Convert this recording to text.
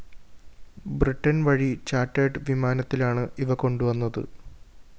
ബ്രിട്ടന്‍ വഴി ചാർട്ടേർഡ്‌ വിമാനത്തിലാണ് ഇവ കൊണ്ടുവന്നത്